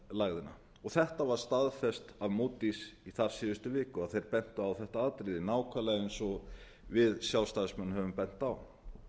efnahagslægðina og þetta var staðfest af mótís í þar síðustu viku þeir bentu á þetta atriði nákvæmlega ein og við sjálfstæðismenn höfum bent á